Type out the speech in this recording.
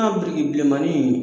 biriki bilenmannin